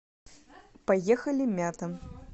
поехали мята